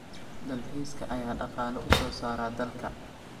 Dalxiiska ayaa dhaqaale u soo saara dalka.